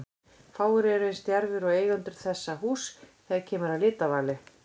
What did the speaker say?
Fáir eru eins djarfir og eigendur þessa húss þegar kemur að litavali.